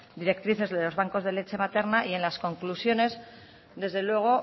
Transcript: directrices de los bancos de la lecha materna y en las conclusiones desde luego